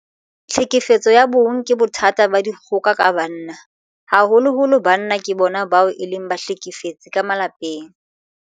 Tlhekefetso ya bong ke bothata ba dikgoka ka banna. Haholoholo banna ke bona bao e leng bahlekefetsi ka malapeng.